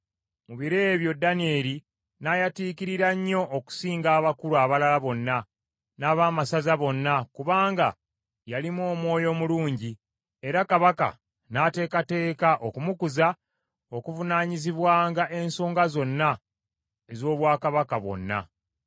Mu biro ebyo Danyeri n’ayatiikirira nnyo okusinga abakulu abalala bonna n’abaamasaza bonna kubanga yalimu omwoyo omulungi, era kabaka n’ateekateeka okumukuza okuvunaanyizibwanga ensonga zonna z’obwakabaka bwonna.